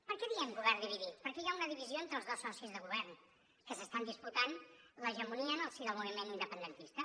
per què diem govern dividit perquè hi ha una divisió entre els dos socis de govern que s’estan disputant l’hegemonia en el si del moviment independentista